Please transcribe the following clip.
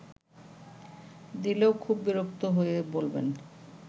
দিলেও খুব বিরক্ত হয়ে বলবেন